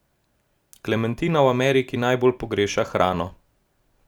Klementina v Ameriki najbolj pogreša hrano.